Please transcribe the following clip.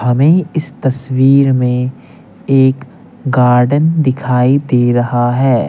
हमें इस तस्वीर में एक गार्डन दिखाई दे रहा है।